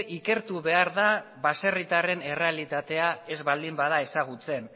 ikertu behar da baserritarren errealitatea ez baldin bada ezagutzen